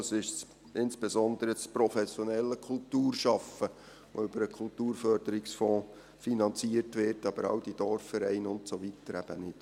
Es ist insbesondere das professionelle Kulturschaffen, das über den Kulturförderungsfonds finanziert wird, aber all diese Dorfvereine und so weiter eben nicht.